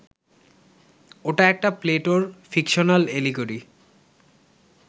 ওটা একটা প্লেটোর ফিকশনাল এলিগোরি